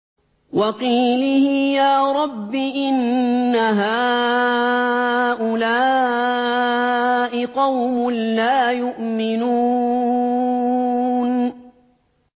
وَقِيلِهِ يَا رَبِّ إِنَّ هَٰؤُلَاءِ قَوْمٌ لَّا يُؤْمِنُونَ